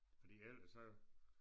Fordi ellers så